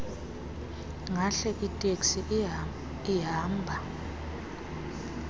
ahle iteksi ihamba